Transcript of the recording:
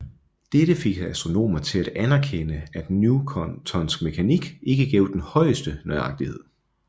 Dette fik astronomer til at anerkende at newtonsk mekanik ikke gav den højeste nøjagtighed